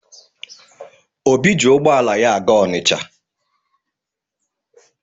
Obi ji ụgbọala ya aga Ọnịcha.